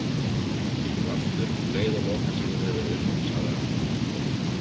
Ég kem aftur um leið og lokasigur hefur verið unninn, sagði hann.